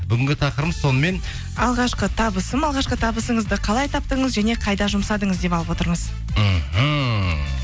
бүгінгі тақырыбымыз сонымен алғашқы табысым алғашқы табысыңызды қалай таптыңыз және қайда жұмсадыңыз деп алып отырмыз мхм